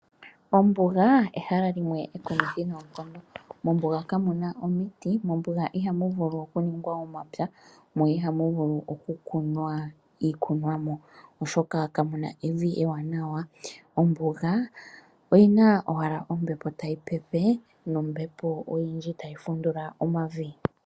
Ombuga ehala limwe enjumitji noonkondo. Mombuga kamuna omiti mo ihamu vulu okuningwa omapya mo ihamu vulu okukunwa ikunwamo oshoka kamuna evi ewanawa. Ombuga oyina owala ombepo tayi pepe nombembo oyindji tayi fundula omavi.